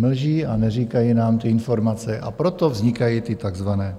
Mlží a neříkají nám ty informace, a proto vznikají ty takzvané